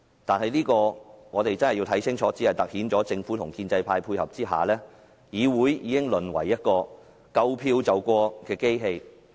但是，我們必須看清楚，這只是突顯政府在建制派的配合下，已令議會淪為一個"夠票便過"的機器。